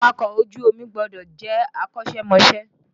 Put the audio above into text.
Àwakọ̀ ojú omi gbọdọ̀ jẹ́ akọṣẹ́ mọṣẹ́